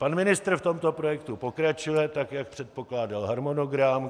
Pan ministr v tomto projektu pokračuje tak, jak předpokládal harmonogram.